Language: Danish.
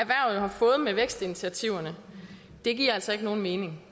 har fået med vækstinitiativerne giver altså ikke nogen mening